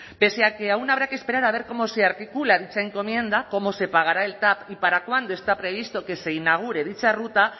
pese a que aún habrá que esperar a ver cómo se articula esa encomienda cómo se pagará el tav y para cuándo está previsto que se inaugure dicha ruta